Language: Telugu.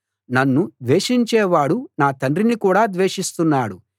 నన్ను ద్వేషించేవాడు నా తండ్రిని కూడా ద్వేషిస్తున్నాడు